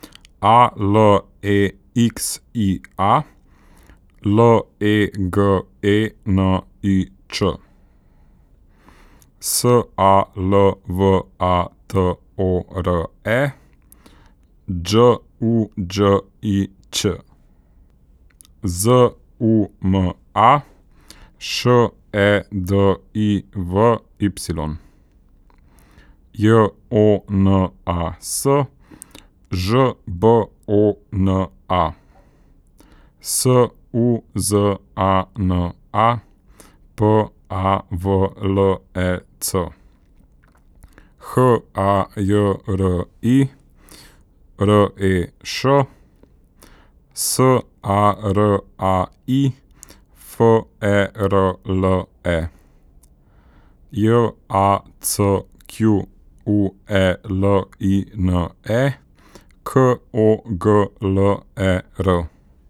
A L E X I A, L E G E N I Č; S A L V A T O R E, Đ U Đ I Ć; Z U M A, Š E D I V Y; J O N A S, Ž B O N A; S U Z A N A, P A V L E C; H A J R I, R E Š; S A R A I, F E R L E; J A C Q U E L I N E, K O G L E R.